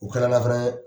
U kɛra nafan ye